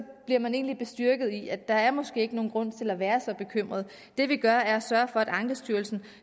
bliver man egentlig bestyrket i at der måske ikke er nogen grund til at være så bekymret det vi gør er at sørge for at ankestyrelsen